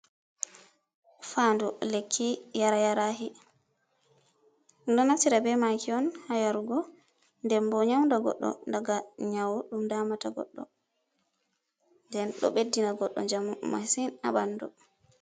"Fandu lekki"yara yarahi ɗum ɗo naftira be maki on ha yarugo den bo nyauda goɗɗo daga nyau ɗum damata goɗɗo den ɗo beddina goɗɗo njamu masin ha ɓandu.